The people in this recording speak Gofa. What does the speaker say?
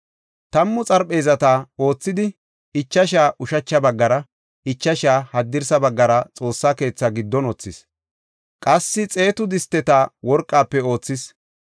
Tammu xarpheezata oothidi, ichasha ushacha baggara, ichasha haddirsa baggara Xoossa keetha giddon wothis. Qassi xeetu disteta worqafe oothis.